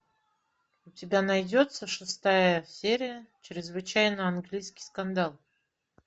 у тебя найдется шестая серия чрезвычайно английский скандал